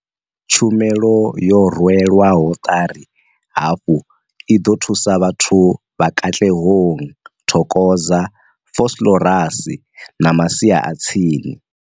Tshumelo yo rwelwaho ṱari hafhu i ḓo thusa vhathu vha Katlehong, Thokoza, Vosloorus na masia a tsini.